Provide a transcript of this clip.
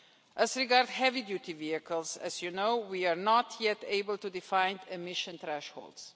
As regards heavy-duty vehicles, as you know, we are not yet able to define emission thresholds.